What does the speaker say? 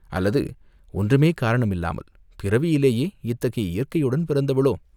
அல்லது ஒன்றுமே காரணமில்லாமல், பிறவியிலேயே இத்தகைய இயற்கையுடன் பிறந்தவளோ?